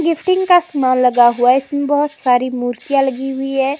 Gifting का सामान लगा हुआ है इसमें बहुत सारी मूर्तियां लगी हुई है।